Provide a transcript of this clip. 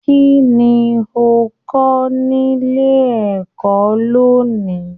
Kínní o kọ nílé ẹ̀kọ́ lóòní?